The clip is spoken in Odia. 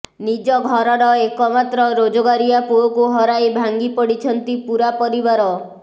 ନିଜ ଘରର ଏକ ମାତ୍ର ରୋଜଗାରିଆ ପୁଅକୁ ହରାଇ ଭାଙ୍ଗି ପଡିଛନ୍ତି ପୂରା ପରିବାର